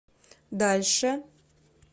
дальше